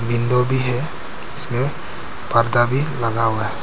Window भी है जिसपे पर्दा भी लगा हुआ है।